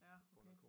Ja okay